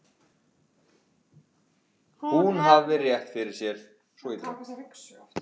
Hún hafði rétt fyrir sér.